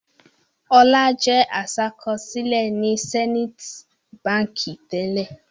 Ọlá jẹ́ aṣàkọsílẹ̀ ní Zenith Báńkì tẹ́lẹ̀.